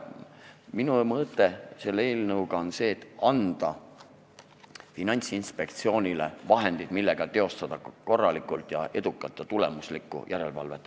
Minu mõte selle eelnõuga on see, et anda Keeleinspektsioonile vahendid, millega teha korralikku, edukat ja tulemuslikku järelevalvet.